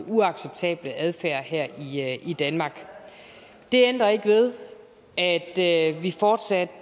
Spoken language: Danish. uacceptable adfærd her her i danmark det ændrer ikke ved at vi fortsat